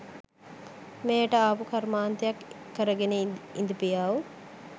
මෙහෙට ආපු කර්මාන්තයක් කරගෙන ඉඳපියව්